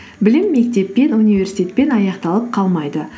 білім мектеппен университетпен аяқталып қалмайды